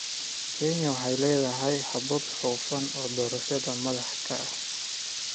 Kenya waxay leedahay habab hufan oo doorashada madaxda ah.